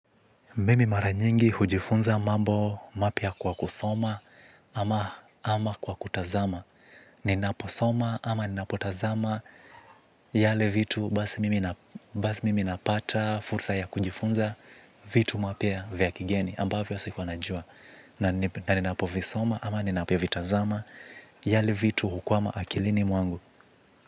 Mimi mara nyingi hujifunza mambo mapya kwa kusoma ama kwa kutazama. Ninaposoma ama ninapotazama yale vitu basi mimi napata fursa ya kujifunza vitu mapya vya kigeni ambavyo siku anajua. Naninapo visoma ama ninapovitazama yale vitu hukwama akilini mwangu.